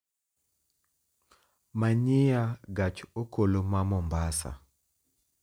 manyiya gach okoloma mombasa